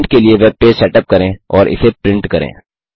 print के लिए web page setup करें और इसे प्रिंट करें